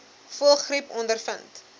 voëlgriep ondervind